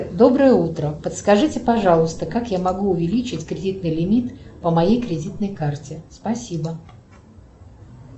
доброе утро подскажите пожалуйста как я могу увеличить кредитный лимит по моей кредитной карте спасибо